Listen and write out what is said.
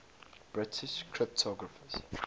british cryptographers